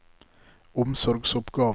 omsorgsoppgaver